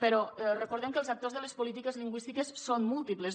però recordem que els actors de les polítiques lingüístiques són múltiples